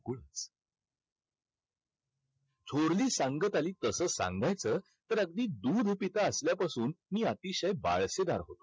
थोरली सांगत आली तसं सांगायचं तर अगदी दूध पितं असल्यापासून मी अतिशय बाळशेदार होतो.